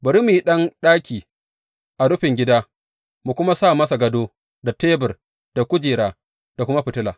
Bari mu yi ɗan ɗaki a rufin gida mu kuma sa masa gado da tebur da kujera da kuma fitila.